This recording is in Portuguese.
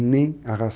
nem arras.